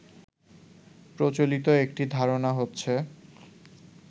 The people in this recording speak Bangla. প্রচলিত একটি ধারণা হচ্ছে